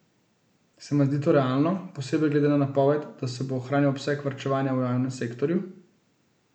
Se vam zdi to realno, posebej glede na napoved, da se bo ohranil obseg varčevanja v javnem sektorju?